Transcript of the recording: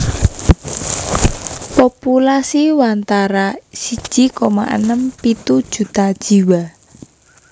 Populasi watara siji koma enem pitu juta jiwa